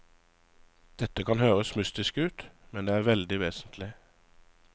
Dette kan høres mystisk ut, men det er veldig vesentlig.